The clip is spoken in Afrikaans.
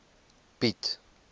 piet